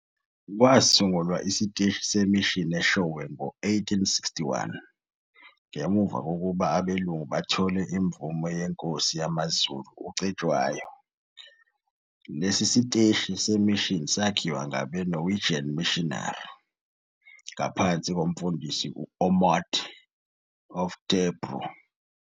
Kwasungulwa isiteshi se-mission Eshowe ngo 1861 ngemuva kokuba abelungu bethole imvume yeNkosi yamaZulu uCetshwayo, lesi siteshi se-mission sakhiwa ngabe- Norwegian missionary, ngaphansi koMfundisi u-Ommund Oftebro.